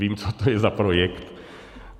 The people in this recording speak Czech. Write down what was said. Vím, co to je za projekt.